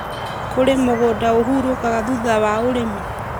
kũrĩa mũgũnda ũhurũkaga thutha wa ũrĩmi,